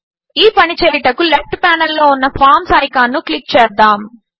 ఈ పని చేయుటకు లెఫ్ట్ ప్యానెల్లో ఉన్న ఫార్మ్స్ ఐకాన్పై క్లిక్ చేద్దాము